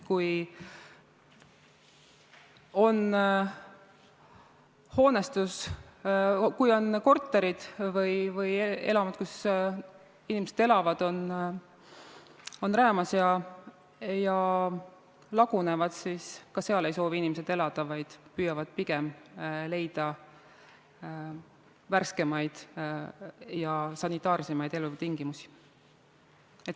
Kui korterid või elamud, kus inimesed elavad, on räämas ja lagunevad, siis ei soovi inimesed seal elada, vaid püüavad pigem leida värskemaid ja sanitaarsemaid elutingimusi.